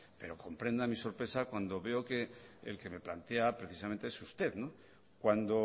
pero comprenda mi sorpresa cuando veo que el que me plantea precisamente es usted cuando